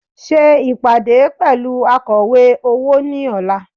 Ṣe ìpàdé pẹ̀lú akọ̀wé owó ní ọ̀la